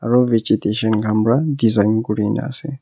ro vegetation khan pa design kurina ase.